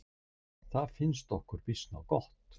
Það finnst okkur býsna gott!